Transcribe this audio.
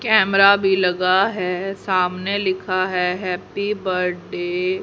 camera भी लगा है सामने लिखा है हैप्पी बड्डे --